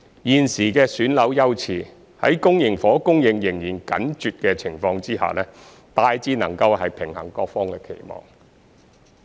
現時的選樓優次，在公營房屋供應仍然緊絀的情況下，大致能平衡各方期望。